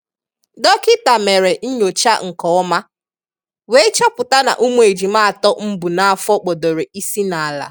Dọkịta mere nnyocha nke ọma, wee chọpụta na ụmụ ejima atọ m bu n'afọ kpọdoro isi n'ala.